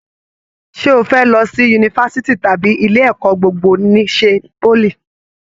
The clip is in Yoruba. Ṣe o fẹ lọ sí yunifásítì tàbí ilé ẹ̀kọ́ gbogbo n'isè poly?